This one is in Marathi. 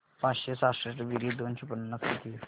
पाचशे सहासष्ट बेरीज दोनशे पन्नास किती होईल